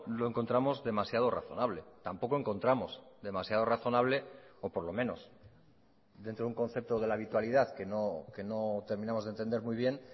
lo encontramos demasiado razonable tampoco encontramos demasiado razonable o por lo menos dentro de un concepto de la habitualidad que no terminamos de entender muy bien